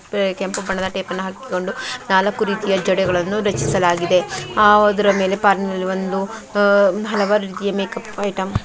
ಕೆಂಪು ಬಣ್ಣದ ಟೇಪನ್ನು ಹಾಕಿಕೊಂಡು ನಾಲ್ಕು ರೀತಿಯ ಜಡೆಗಳನ್ನು ರಚಿಸಲಾಗಿದೆ ಆ ಅದರ ಮೇಲೆ ಪಾರ್ಲರ್ ಅಲ್ಲಿ ಒಂದು ಹಲವಾರು ಮೇಕಪ್ ಐಟಂ --